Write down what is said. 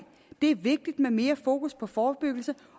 det er vigtigt med mere fokus på forebyggelse